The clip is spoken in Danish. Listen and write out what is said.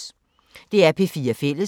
DR P4 Fælles